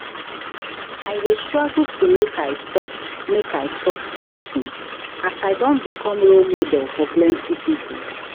I dey struggle to make I stop make I stop smoking as I don become role model for plenty pipo.